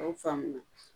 A y'o faamuya